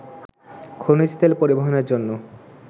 খনিজ তেল পরিবহনের জন্য